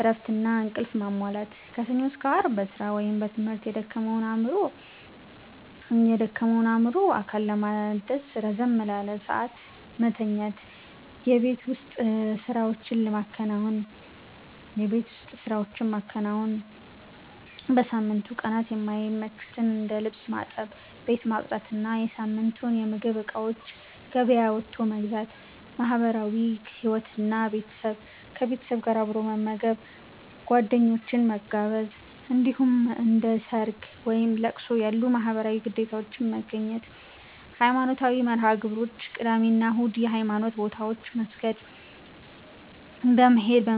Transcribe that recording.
እረፍትና እንቅልፍ ማሟላት፦ ከሰኞ እስከ አርብ በስራ ወይም በትምህርት የደከመውን አእምሮና አካል ለማደስ ረዘም ላለ ሰዓት መተኛት። የቤት ውስጥ ስራዎችን ማከናወን፦ በሳምንቱ ቀናት የማይመቹትን እንደ ልብስ ማጠብ፣ ቤት ማጽዳት እና የሳምንቱን የምግብ እቃዎች ገበያ ወጥቶ መግዛት። ማህበራዊ ህይወት እና ቤተሰብ፦ ከቤተሰብ ጋር አብሮ መመገብ፣ ጓደኞችን መጋበዝ፣ እንዲሁም እንደ ሰርግ፣ ወይም ለቅሶ ያሉ ማህበራዊ ግዴታዎችን መገኘት። ሃይማኖታዊ መርሃ-ግብሮች፦ ቅዳሜ እና እሁድ የሃይማኖት ቦታዎች መስጊድ በመሄድ